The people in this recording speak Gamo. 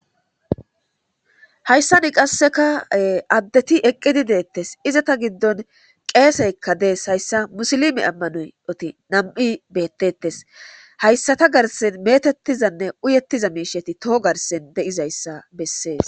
Hayssa ni qasseka addeti eqqidi deettes izata giddon qeeseykka dees hayssa musilimi ammanoyoti nam'i beettettes hayssata garse metettizanne uyettiza miisheti toho garsen de'izayssa bessees